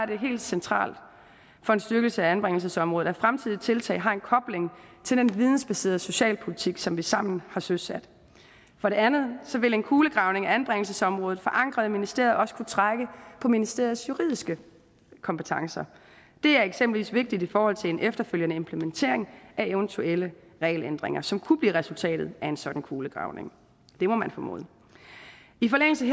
det helt centralt for en styrkelse af anbringelsesområdet at fremtidige tiltag har en kobling til den vidensbaserede socialpolitik som vi sammen har søsat for det andet vil en kulegravning af anbringelsesområdet forankret i ministeriet også kunne trække på ministeriets juridiske kompetencer det er eksempelvis vigtigt i forhold til en efterfølgende implementering af eventuelle regelændringer som kunne blive resultatet af en sådan kulegravning det må man formode i forlængelse